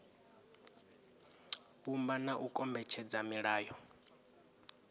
vhumba na u kombetshedza milayo